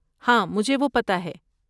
ہاں، مجھے وہ پتہ ہے۔